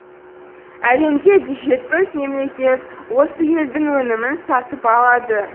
әлемде жүз жетпіс мемлекет осы елдің өнімін сатып алады